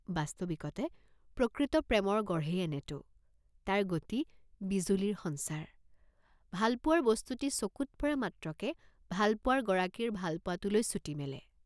বাস্তৱিকতে প্ৰকৃত প্ৰেমৰ গঢ়েই এনেটো, তাৰ গতি বিজুলীৰ সঞ্চাৰ, ভালপোৱাৰ বস্তুটি চকুট পৰা মাত্ৰকে ভালপোৱাৰ গৰাকীৰ ভালপোৱাটোলৈ ছুটি মেলে।